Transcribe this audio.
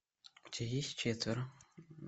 у тебя есть четверо